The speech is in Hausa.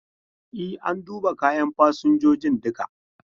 E, an duba kayan fasinjojin duka.